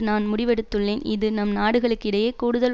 நான் முடிவெடுத்துள்ளேன்இது நம் நாடுகளுக்கு இடையே கூடுதல்